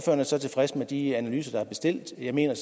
er så tilfreds med de analyser der er bestilt jeg mener